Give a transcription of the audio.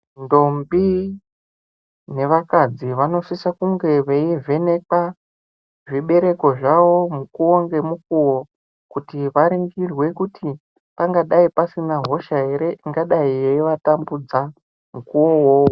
Ndombi nevakadzi vanosisa kunge veivhenekwa zvibereko zvavo mukuwo ngemukuwo kuti varingirwe kuti pangadai pasina hosha here ingadai yeiatambudza mukuwo wowowo.